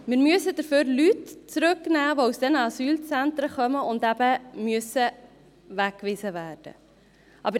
Stattdessen müssen wir Leute zurücknehmen, die aus eben diesen Asylzentren kommen und weggewiesen werden müssen.